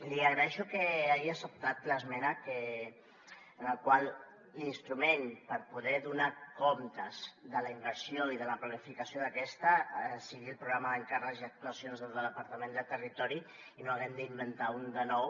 li agraeixo que hagi acceptat l’esmena en la qual l’instrument per poder donar comptes de la inversió i de la planificació d’aquesta sigui el programa d’encàrrecs i actuacions del departament de territori i no haguem d’inventar ne un de nou